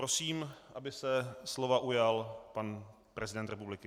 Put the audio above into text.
Prosím, aby se slova ujal pan prezident republiky.